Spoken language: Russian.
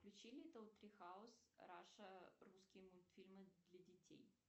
включи литтл три хаус раша русские мультфильмы для детей